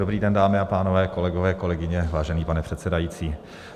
Dobrý den, dámy a pánové, kolegové, kolegyně, vážený pane předsedající.